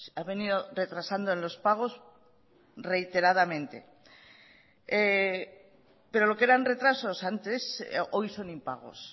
ha venido retrasando en los pagos reiteradamente pero lo que eran retrasos antes hoy son impagos